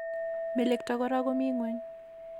Melekto Kora ko mi ngweny